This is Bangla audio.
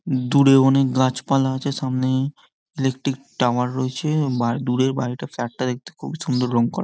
দূরে অনেক গাছপালা আছে সামনেই ইলেকট্রিক টাওয়ার রয়েছে দূরে বাড়িটা ফ্ল্যাটটা দেখতে খুব সুন্দর রং করা আছে।